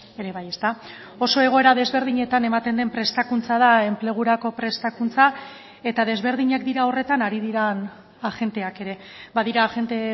ere bai ezta oso egoera desberdinetan ematen den prestakuntza da enplegurako prestakuntza eta desberdinak dira horretan ari diren agenteak ere badira agente